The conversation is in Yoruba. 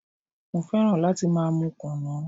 Mo fẹ́ràn láti máa mú kùnú.